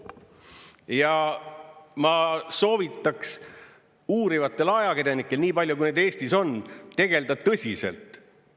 Ja ma soovitaks uurivatel ajakirjanikel, nii palju kui neid Eestis on, tegeleda tõsiselt.